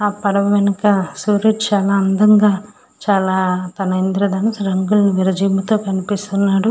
ఆ పడవ వెనక సూర్యుడు చాలా అందంగా ఇంద్రదనస్సు రంగులు విరజిమ్ముతో కనిపిస్తుంది.